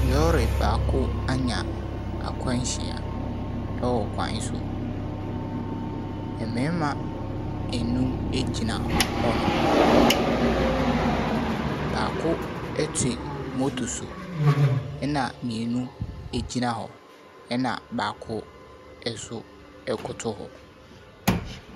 Lɔri baako ɛnya akwanhyia ɛwɔ kwan so. Mmarima enum egyina hɔ nom. Baako ɛte motor so ɛna mmienu egyina hɔ ɛna baako ɛnso ɛkoto hɔ.